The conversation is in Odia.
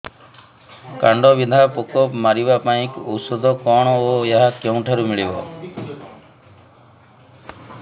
କାଣ୍ଡବିନ୍ଧା ପୋକ ମାରିବା ପାଇଁ ଔଷଧ କଣ ଓ ଏହା କେଉଁଠାରୁ ମିଳିବ